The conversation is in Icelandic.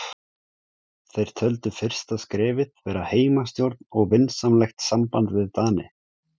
Þeir töldu fyrsta skrefið vera heimastjórn og vinsamlegt samband við Dani.